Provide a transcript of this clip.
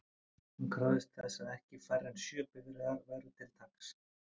Hún krafðist þess að ekki færri en sjö bifreiðar væru til taks.